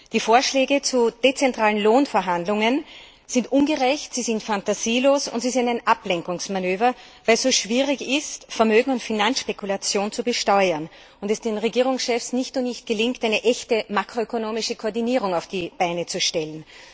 Die Vorschläge zu dezentralen Lohnverhandlungen sind ungerecht, sie sind phantasielos und sie sind ein Ablenkungsmanöver, weil es so schwierig ist, Vermögens und Finanzspekulation zu besteuern und es den Regierungschefs nicht gelingen will, eine echte makroökonomische Koordinierung auf die Beine zu stellen.